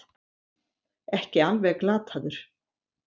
Ekki alveg glataður